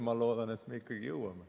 Ma loodan, et me ikkagi jõuame.